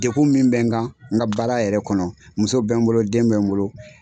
Degun min bɛ n kan n ka baara yɛrɛ kɔnɔ muso bɛ n bolo den bɛ n bolo.